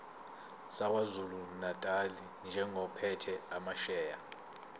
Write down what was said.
sakwazulunatali njengophethe amasheya